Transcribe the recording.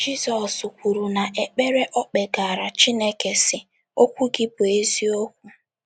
Jizọs kwuru n’ekpere o kpegaara Chineke, sị: “ Okwu gị bụ eziokwu. ”